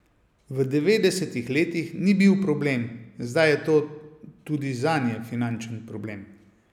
V devetdesetih letih ni bil problem, zdaj je to tudi zanje finančen problem.